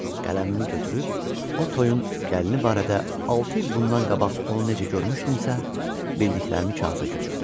Qələmimi götürüb o toyun gəlini barədə altı il bundan qabaq onu necə görmüşdümsə, bildiklərimi kağıza köçürdüm.